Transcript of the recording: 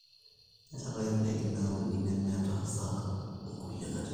meetae indaiki naauni nemeeta hasara nkulie katitin